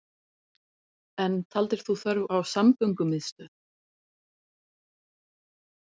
En taldir þú þörf á samgöngumiðstöð